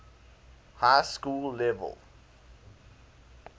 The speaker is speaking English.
high school level